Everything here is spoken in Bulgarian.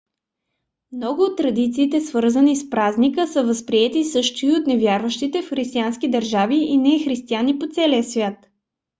много от традициите свързани с празника са възприети също и от невярващи в християнски държави и нехристияни по целия свят